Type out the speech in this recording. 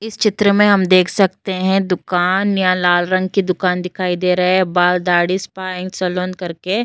इस चित्र में हम देख सकते हैं। दुकान या लाल रंग की दुकान दिखाइ दे रहा है बाल दाढ़ी स्पा एंड सलून करके।